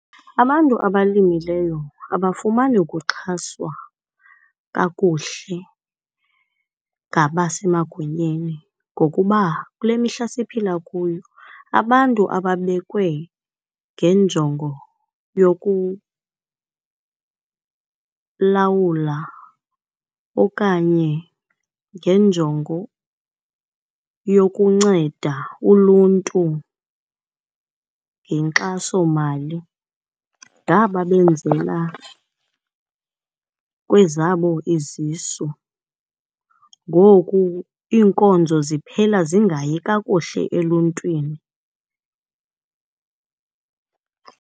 Abantu abalimileyo abafumani kuxhaswa kakuhle ngabasemagunyeni ngokuba kule mihla siphila kuyo abantu ababekwe ngenjongo yokulawula okanye ngenjongo yokunceda uluntu ngenkxasomali ngaba benzela kwezabo izisu. Ngoku iinkonzo ziphela zingayi kakuhle eluntwini.